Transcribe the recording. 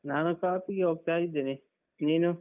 ನಾನು ಕಾಪಿಗೆ ಹೋಗ್ತಾ ಇದ್ದೇನೆ. ನೀನು?